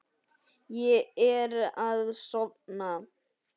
Ég er að sofna.